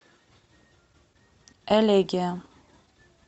элегия